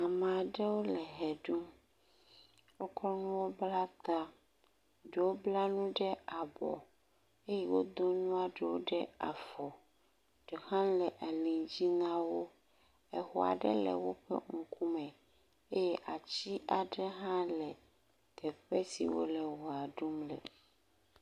Ama ɖewo le ʋe ɖum, wokɔ nuwo bla ta, ɖewo bla nu ɖe abɔ eye wodo nua ɖewo ɖe afɔ, ɖe hã le ali dzi na wo, exɔa ɖe le woƒe ŋkume eye atsi aɖe hã le teƒe si wole wɔa ɖum le.